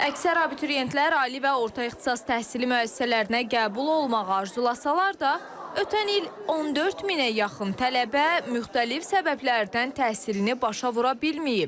Əksər abituriyentlər ali və orta ixtisas təhsili müəssisələrinə qəbul olmağa arzulasa da, ötən il 14 minə yaxın tələbə müxtəlif səbəblərdən təhsilini başa vura bilməyib.